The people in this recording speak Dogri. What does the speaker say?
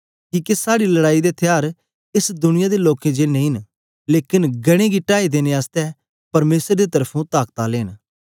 किके साड़ी लड़ाई दे थ्यार एस दुनिया दे लोकें जे नेई ऐ न लेकन गढ़ें गी टाई देने आसतै परमेसर दे तरफुं ताकत आलें न